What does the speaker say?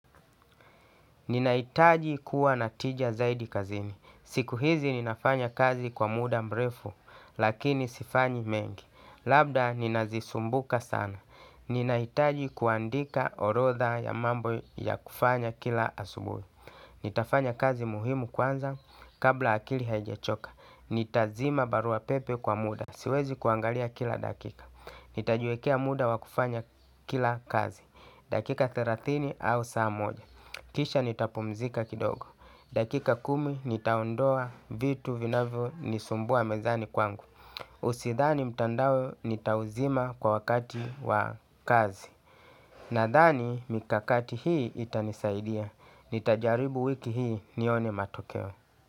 Ninahitaji kuwa natija zaidi kazini. Siku hizi ninafanya kazi kwa muda mrefu lakini sifanyi mengi. Labda ninazisumbuka sana. Ninahitaji kuandika orodha ya mambo ya kufanya kila asubui. Nitafanya kazi muhimu kwanza kabla akili haijachoka. Nitazima baruapepe kwa muda. Siwezi kuangalia kila dakika. Nitajiwekea muda wavkufanya kila kazi dakika thelathini au saa moja. Kisha nitapumzika kidogo dakika kumi nitaondoa vitu vinavyonisumbua mezani kwangu Usidhani mtandao nitauzima kwa wakati wa kazi. Nadhani mikakati hii itanisaidia, nitajarihu wiki hii nione matokeo.